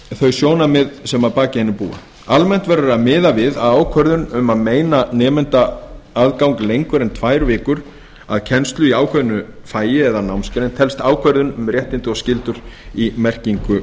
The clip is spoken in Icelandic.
þau sjónarmið sem að baki hennibúa almennt verður að miða við að ákvörðun um að meina nemanda aðgang lengur en tvær vikur að kennslu í ákveðnu fagi eða námsgrein telst ákvæði um réttindi og skyldur í merkingu